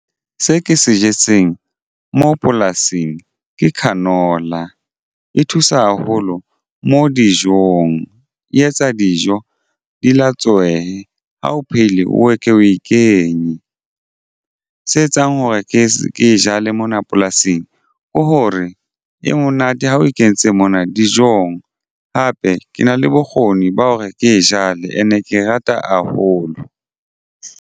Se ke se jetseng mo polasing ke canola e thusa haholo mo dijong. E etsa dijo di latswehe ha o phehile o eke o e kenye se etsang hore ke jale mona polasing ke hore e monate ha o kentse mona dijong hape ke na le bokgoni ba hore ke jale- e ke e rata haholo.